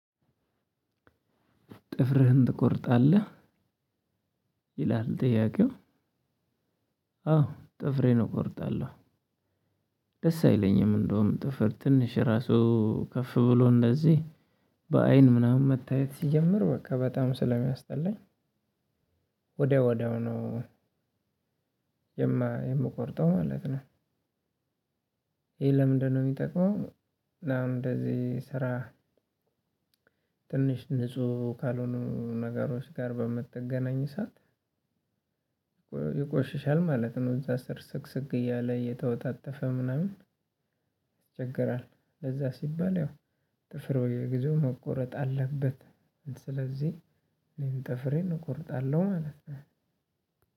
ጥፍርህን ትቆርጣለህ ይላል ጥያቄው? ጥፍሬን እቆርጣለሁ። ደስ አይለኝም እንደውም ጥፍር ትንሽ ራሱ ከፍ ብሎ እንደዚህ በአይን ምናምን መታየት ሲጀምር በቃ በጣም ስለሚያስጠላኝ። ወዳው ወዳው ነው የምቆርጠው ማለት ነው። ይሄ ለምንድነው የሚጠቅመው? እና እንደዚህ ስራ ትንሽ ንጹህ ካልሆኑ ነገሮች ጋር በምትገናኝ ሰዓት። ይቆሽሻል ማለት ነው እዛ ስር ስቅስቅ እያለ እየተወታተፈ ምናምን። ጥፍርህን ትቆርጣለህ ይላል ጥያቄ ው። ስለዚህ እኔ ጥፍሬን እቆርጣለሁ ማለት ነው።